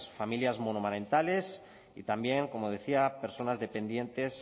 familias monomarentales y también como decía personas dependientes